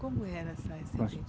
Como era a saia serpenti